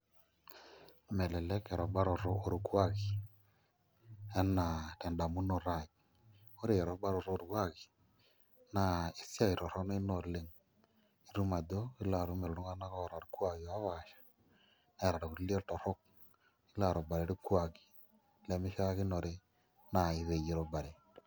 Melelek erubaroto orkuaki enaa tendamunoto aai ore erubaroto orkuaki naa esiai torrono ina oleng' itum ajo ilo atum iltung'anak oopaasha neeta irkulie iltorrok nilo arubare irkuaki lemishiakinore naai peyie irubare.